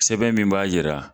Sɛbɛn min b'a jira